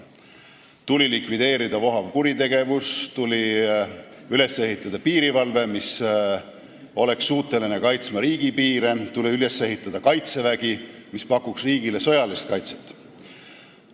Tuli likvideerida vohav kuritegevus, tuli üles ehitada piirivalve, mis oleks suuteline kaitsma riigipiire, tuli üles ehitada kaitsevägi, mis pakuks riigile sõjalist kaitset.